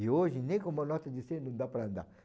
E hoje, nem com uma nota de cem não dá para andar.